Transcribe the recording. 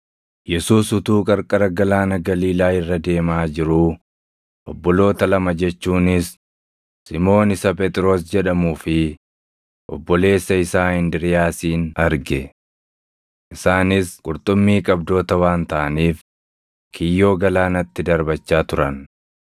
Yesuus utuu qarqara Galaana Galiilaa irra deemaa jiruu, obboloota lama jechuunis Simoon isa Phexros jedhamuu fi obboleessa isaa Indiriiyaasin arge. Isaanis qurxummii qabdoota waan taʼaniif kiyyoo galaanatti darbachaa turan.